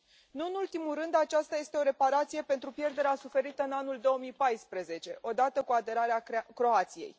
Nu în ultimul rând, aceasta este o reparație pentru pierderea suferită în anul 2014, odată cu aderarea Croației.